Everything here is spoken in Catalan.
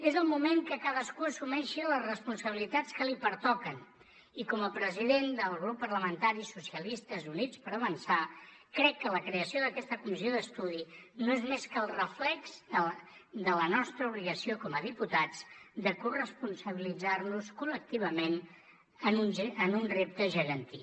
és el moment que cadascú assumeixi les responsabilitats que li pertoquen i com a president del grup parlamentari socialistes units per avançar crec que la creació d’aquesta comissió d’estudi no és més que el reflex de la nostra obligació com a diputats de corresponsabilitzar nos col·lectivament en un repte gegantí